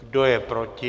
Kdo je proti?